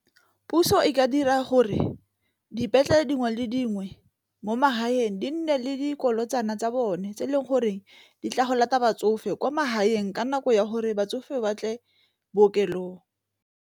Puso e ka dira gore dipetlele dingwe le dingwe mo magaeng di nne le dikolo tswana tsa bone tse e leng gore di tla go lata batsofe kwa magaeng ka nako ya gore batsofe ba tle bookelong.